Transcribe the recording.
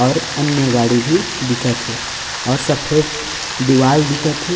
और अन्य गाड़ी भी दिखत हे और सफेद दीवाल दिखत हे।